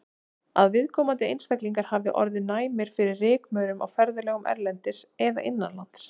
Að viðkomandi einstaklingar hafi orðið næmir fyrir rykmaurum á ferðalögum erlendis eða innanlands.